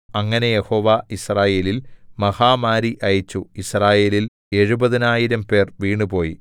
അങ്ങനെ യഹോവ യിസ്രായേലിൽ മഹാമാരി അയച്ചു യിസ്രായേലിൽ എഴുപതിനായിരംപേർ വീണുപോയി